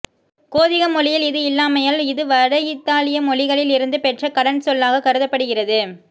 கோதிக மொழியில் இது இல்லாமையால் இது வட இத்தாலிய மொழிகளில் இருந்து பெற்ற கடன்சொல்லாகக் கருதப்படுகிறது